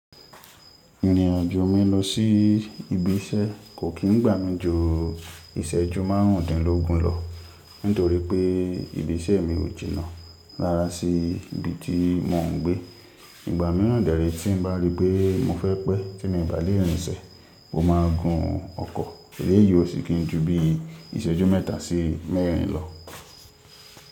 Ìrìnàjò mi lọ sí ibi iṣẹ́ kò kí ń gbà mí ju ìṣẹ́jú márùndínlógún lọ, nítorí pé ibi iṣẹ́ mi ò jìnà rára sí ibi tí mò ń gbé. Ìgbà mìíràn dẹ̀ rí tí n bá rí pé mo fẹ́ pẹ́ tí mo bá lé rìnṣẹ̀, mo máa gun ọkọ̀, èléèyí ó sì kí ń ju bí ìṣẹ́jú mẹ́ta sí mẹ́rin lọ.